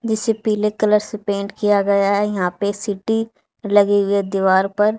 जिसे पीले कलर से पेंट किया गया है यहां पे सिटी लगी हुई दीवार पर--